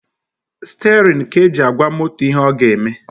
Stirin ka e ji agwa moto ihe ọ ga-eme